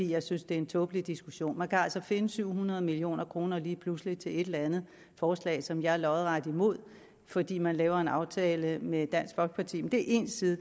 jeg synes det er en tåbelig diskussion man kan altså finde syv hundrede million kroner lige pludselig til et eller andet forslag som jeg er lodret imod fordi man laver en aftale med dansk folkeparti men det er én side